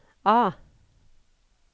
A